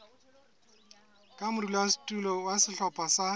ka modulasetulo wa sehlopha sa